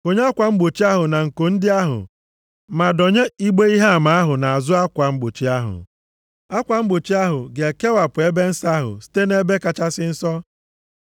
Konye akwa mgbochi ahụ na nko ndị ahụ, ma dọnye igbe ihe ama ahụ nʼazụ akwa mgbochi ahụ. Akwa mgbochi ahụ ga-ekewapụ Ebe Nsọ ahụ site nʼEbe Kachasị Nsọ. + 26:33 Ọ bụ naanị onyeisi nchụaja na-aba nʼime ebe ahụ a na-akpọ Ebe Kachasị Nsọ. Ọ bụ naanị otu ụbọchị nʼafọ, nke bụ ụbọchị ikpuchi mmehie ndị Izrel, ka ọ na-aba nʼebe ahụ.